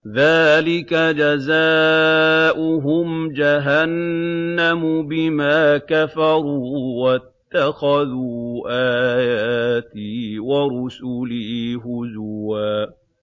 ذَٰلِكَ جَزَاؤُهُمْ جَهَنَّمُ بِمَا كَفَرُوا وَاتَّخَذُوا آيَاتِي وَرُسُلِي هُزُوًا